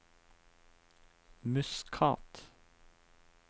Muscat